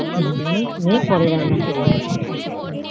ছেলেমানুষ মেয়ে পরে রান্না করবে